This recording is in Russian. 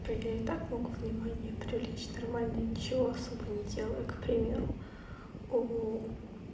то я и так могу внимание привлечь нормально ничего особо не делая к примеру у